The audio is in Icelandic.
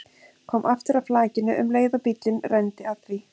Kom aftur að flakinu um leið og bíllinn renndi að því.